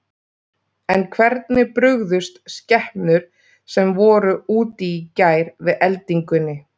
En hvernig brugðust skepnur sem voru úti í gær við eldingunni?